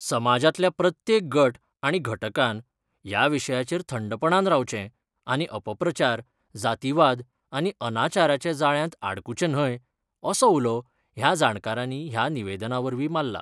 समाजातल्या प्रत्येक गट आनी घटकांन ह्या विशयाचेर थंडपणान रावचे आनी अपप्रचार, जातीवाद आनी अनाचाराच्या जाळ्यात आडकुचे न्हय, असो उलो ह्या जाणकारानी ह्या निवेदनावरवी माल्ला.